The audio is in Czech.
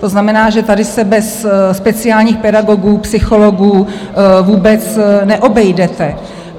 To znamená, že tady se bez speciálních pedagogů, psychologů vůbec neobejdete.